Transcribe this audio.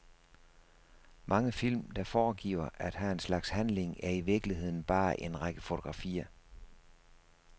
Mange film, der foregiver at have en slags handling er i virkeligheden bare en række fotografier.